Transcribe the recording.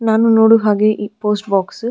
ನಾನು ನೋಡುವ ಹಾಗೆ ಈ ಪೋಸ್ಟ್ ಬೋಕ್ಸ್ --